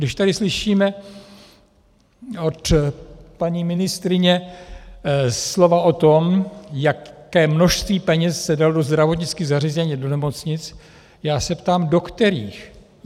Když tady slyšíme od paní ministryně slova o tom, jaké množství peněz se dalo do zdravotnických zařízení, do nemocnic, já se ptám - do kterých?